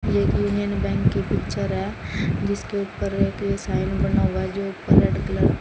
ये union bank की picture है जिसके ऊपर एक ये साइन बना हुआ है जो उपर रेड कलर --